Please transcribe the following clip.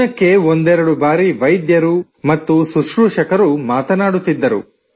ದಿನಕ್ಕೆ ಒಂದೆರಡು ಬಾರಿ ವೈದ್ಯರು ಮತ್ತು ಸುಶ್ರೂಷಕರು ಮಾತನಾಡುತ್ತಿದ್ದರು